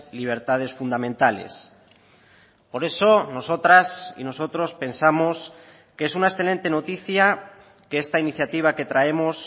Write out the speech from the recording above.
libertades fundamentales por eso nosotras y nosotros pensamos que es una excelente noticia que esta iniciativa que traemos